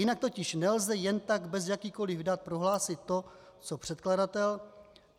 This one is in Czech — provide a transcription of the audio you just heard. Jinak totiž nelze jen tak bez jakýchkoli dat prohlásit to co předkladatel.